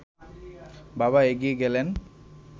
বাবা এগিয়ে গেলেন